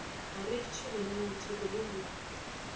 a rekišwa lenaneotheko le le